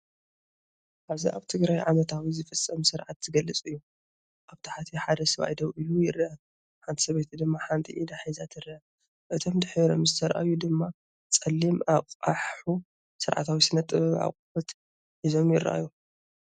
ኣብዚ ኣብ ትግራይ ዓመታዊ ዝፍፀም ስርዓት ዝገልጽ እዩ። ኣብ ታሕቲ ሓደ ሰብኣይ ደው ኢሉ ይረአ፡ ሓንቲ ሰበይቲ ድማ ሓንቲ ኢዳ ሒዛ ትርአ። እቶም ድሒሮም ዝተራእዩ ድማ ጸሊም ኣቕሑ፡ ስርዓታዊ ስነ-ጥበብ ኣቑሑት ሒዞም ይረኣዩ።